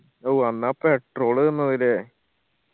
ഊ അന്ന് ആ petrol നിന്നത് ല്ലേ